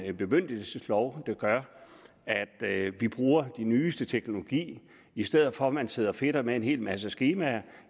en bemyndigelseslov der gør at at vi bruger den nyeste teknologi i stedet for at man sidder og fedter med en hel masse skemaer